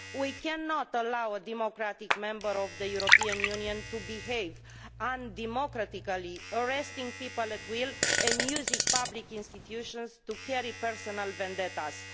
We cannot allow a democratic member of the European Union to behave undemocratically, arresting people at will and using public institutions to carry out personal vendettas.